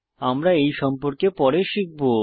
আমরা এই সম্পর্কে পরে শিখব